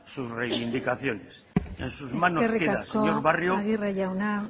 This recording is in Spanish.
sus reivindicaciones eskerrik asko en sus manos queda señor barrio